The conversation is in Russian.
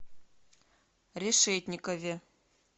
решетникове